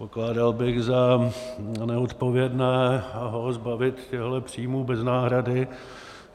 Pokládal bych za neodpovědné ho zbavit těchto příjmů bez náhrady.